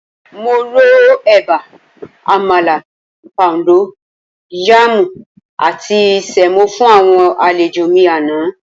Mo ro ẹ̀bà, àmàlà, póúndó yaàmù àti sẹ̀mó fún àwọn àlejò mi àná.